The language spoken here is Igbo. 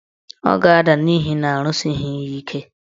Ọ ga-ada n'ihi na arụsighi ya ike.